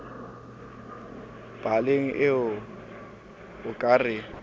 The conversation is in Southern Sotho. paleng ee o ka re